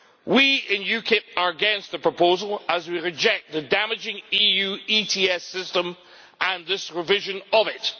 We in UKIP are against the proposal as we reject the damaging EU ETS system and this revision of it.